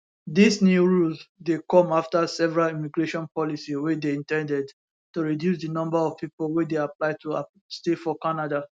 dis new rules dey come afta several immigration policy wey dey in ten ded to reduce di number of pipo wey dey apply to stay for canada